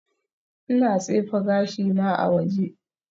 Ina tsefe gashina a waje